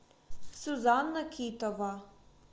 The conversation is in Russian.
сюзанна китова